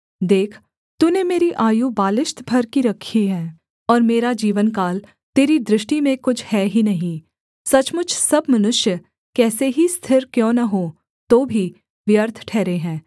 देख तूने मेरी आयु बालिश्त भर की रखी है और मेरा जीवनकाल तेरी दृष्टि में कुछ है ही नहीं सचमुच सब मनुष्य कैसे ही स्थिर क्यों न हों तो भी व्यर्थ ठहरे हैं सेला